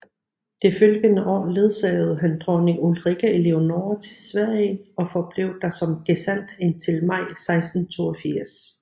Det følgende år ledsagede han dronning Ulrikke Eleonore til Sverige og forblev der som gesandt indtil maj 1682